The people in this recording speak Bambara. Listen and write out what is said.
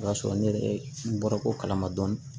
O y'a sɔrɔ ne yɛrɛ n bɔra ko kalama dɔɔnin